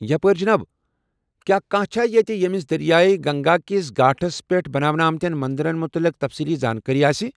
یپٲرۍ جِناب ، کیٛاہ کانٛہہ چھا یتہِ ییٚمِس دریاے گنگا کس گھاٹس پٮ۪ٹھ بناونہٕ آمٕتین مندرن متعلق تفصیلی زانٛکٲری آسہ؟